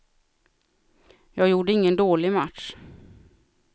Jag gjorde ingen dålig match.